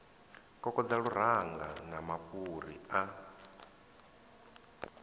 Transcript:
kokodza luranga na mafhuri a